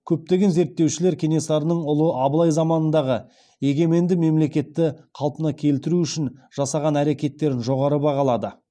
көптеген зерттеушілер кенесарының ұлы абылай заманындағы егеменді мемлекеттілікті қалпына келтіру үшін жасаған әрекеттерін жоғары бағалады